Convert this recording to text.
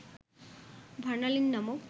ভার্নালিন নামক